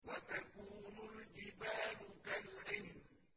وَتَكُونُ الْجِبَالُ كَالْعِهْنِ